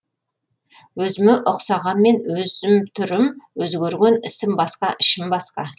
өзіме ұқсағанмен өзім түрім өзгерген ісім басқа ішім басқа